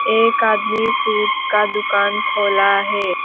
एक आदमी फ्रूट्स का दुकान खोला है।